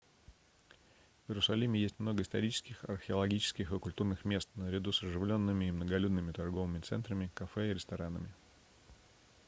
в иерусалиме есть много исторических археологических и культурных мест наряду с оживленными и многолюдными торговыми центрами кафе и ресторанами